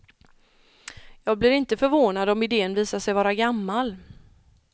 Jag blir inte förvånad om idén visar sig vara gammal.